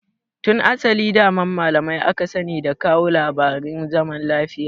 Tun asali daman malamai aka sani da kawo labarin zaman lafiya.